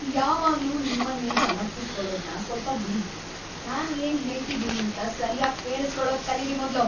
ಯಾವಾಗ್ಲೂ ನಿಮ್ಮನ್ ನೀವ್‌ ಸಮರ್ಥಿಸ್ಕೊಳೋದ್ನ ಸ್ವಲ್ಪ ಬಿಡಿ,‌ ನಾನ್ ಏನ್ ಹೇಳ್ತಿದೀನೀಂತ ಅಂತ ಸರ್ಯಾಗ್ ಕೇಳುಸ್ಕೊಳದ್‌ ಕಲೀರಿ ಮೊದ್ಲು.